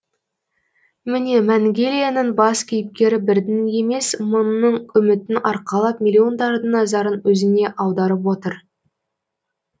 міне мәңгелияның бас кейіпкері бірдің емес мыңның үмітін арқалап миллиондардың назарын өзіне аударып отыр